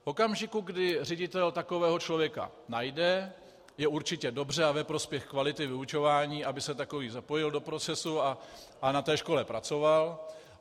V okamžiku, kdy ředitel takového člověka najde, je určitě dobře a ve prospěch kvality vyučování, aby se takový zapojil do procesu a na té škole pracoval.